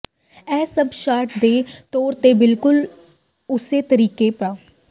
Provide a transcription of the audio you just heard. ਇਹ ਸਭ ਸ਼ਾਟ ਦੇ ਤੌਰ ਤੇ ਬਿਲਕੁਲ ਉਸੇ ਤਰੀਕੇ ਪਾ